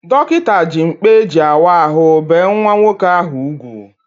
Dọkịta ji mkpa eji awa ahụ bee nwa nwoke ahụ ugwu